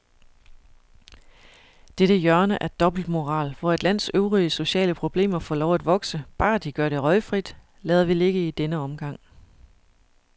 Dette hjørne af dobbeltmoral, hvor et lands øvrige sociale problemer får lov at vokse, bare de gør det røgfrit, lader vi ligge i denne omgang.